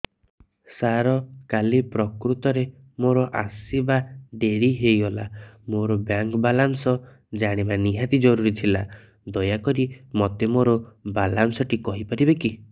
ସାର କାଲି ପ୍ରକୃତରେ ମୋର ଆସିବା ଡେରି ହେଇଗଲା ମୋର ବ୍ୟାଙ୍କ ବାଲାନ୍ସ ଜାଣିବା ନିହାତି ଜରୁରୀ ଥିଲା ଦୟାକରି ମୋତେ ମୋର ବାଲାନ୍ସ ଟି କହିପାରିବେକି